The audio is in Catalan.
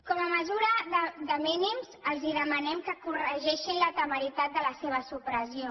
com a mesura de mínims els demanem que corregeixin la temeritat de la seva supressió